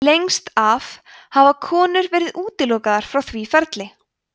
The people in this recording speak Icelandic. lengst af hafa konur verið útilokaðar frá því ferli